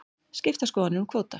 Skiptar skoðanir um kvóta